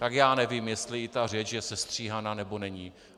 Tak já nevím, jestli i ta řeč je sestříhaná, nebo není.